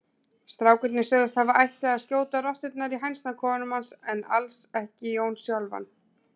Strákarnir sögðust hafa ætlað að skjóta rotturnar í hænsnakofanum hans en alls ekki Jón sjálfan.